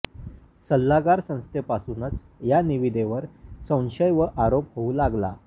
सल्लागार संस्थेपासूनच या निविदेवर संशय व आरोप होऊ लागला